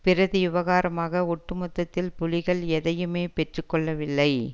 பிரதியுபகாரமாக ஒட்டுமொத்தத்தில் புலிகள் எதையுமே பெற்று கொள்ளவில்லை